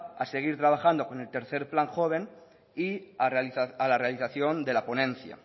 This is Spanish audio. a seguir trabajando con el tercero plan joven y a la realización de la ponencia